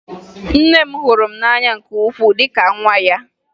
Nne m hụrụ m n'anya nke ukwuu dị ka nwa ya